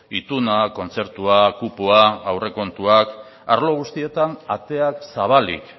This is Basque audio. itunak kontzertua kupoa aurrekontuak arlo guztietan ateak zabalik